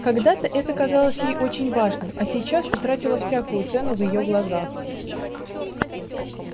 когда-то это казалось ей очень важным а сейчас утратило всякую цену в её глазах